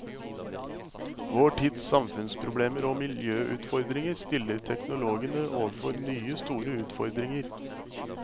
Vår tids samfunnsproblemer og miljøutfordringer stiller teknologene overfor nye store utfordringer.